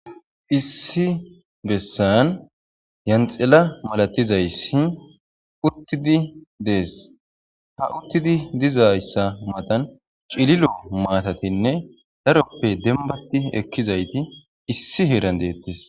issi bessan yanxela malatizayssi uttidi dees ha uttidi dizayssa matan cililo maatatinne daroppe denbati ekkizayti issi heeran deettis.